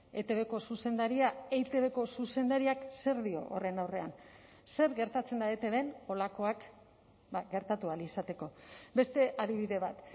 etbko zuzendaria eitbko zuzendariak zer dio horren aurrean zer gertatzen da etbn holakoak gertatu ahal izateko beste adibide bat